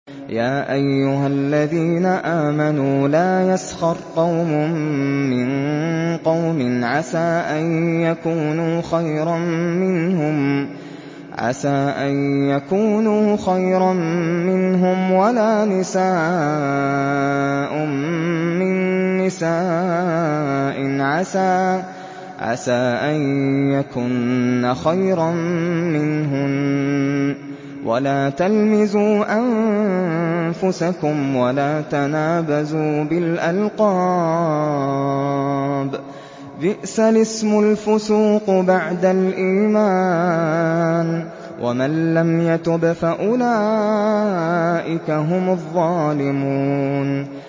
يَا أَيُّهَا الَّذِينَ آمَنُوا لَا يَسْخَرْ قَوْمٌ مِّن قَوْمٍ عَسَىٰ أَن يَكُونُوا خَيْرًا مِّنْهُمْ وَلَا نِسَاءٌ مِّن نِّسَاءٍ عَسَىٰ أَن يَكُنَّ خَيْرًا مِّنْهُنَّ ۖ وَلَا تَلْمِزُوا أَنفُسَكُمْ وَلَا تَنَابَزُوا بِالْأَلْقَابِ ۖ بِئْسَ الِاسْمُ الْفُسُوقُ بَعْدَ الْإِيمَانِ ۚ وَمَن لَّمْ يَتُبْ فَأُولَٰئِكَ هُمُ الظَّالِمُونَ